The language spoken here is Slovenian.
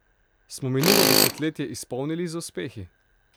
Smo minulo desetletje izpolnili z uspehi?